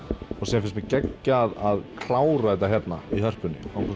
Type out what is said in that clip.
svo fannst mér geggjað að klára þetta hérna í Hörpunni á